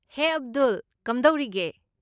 ꯍꯦ, ꯑꯕꯗꯨꯜ, ꯀꯝꯗꯧꯔꯤꯒꯦ?